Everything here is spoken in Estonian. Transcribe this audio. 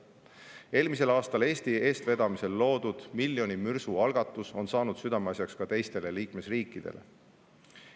Eelmisel aastal Eesti eestvedamisel loodud miljoni mürsu algatus on saanud südameasjaks ka teistele liikmesriikidele.